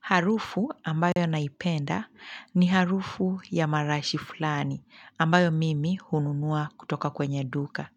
Harufu ambayo naipenda ni harufu ya marashi fulani ambayo mimi hununua kutoka kwenye duka.